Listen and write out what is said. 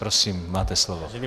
Prosím, máte slovo.